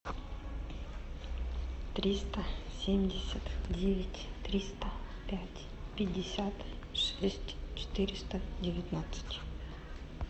триста семьдесят девять триста пять пятьдесят шесть четыреста девятнадцать